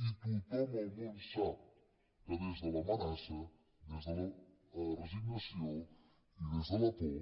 i tothom al món sap que des de l’amenaça des de la resignació i des de la por